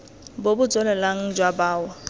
bo bo tswelelang jwa bao